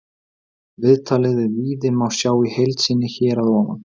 Viðtalið við Víði má sjá í heild sinni hér að ofan.